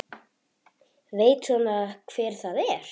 Veit svona hver það er.